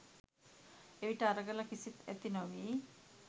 එවිට අරගල කිසිත්, ඇති නොවී